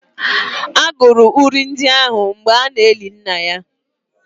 A gụrụ uri ndị ahụ mgbe a na-eli nna ya